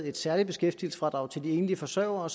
et særligt beskæftigelsesfradrag til de enlige forsørgere og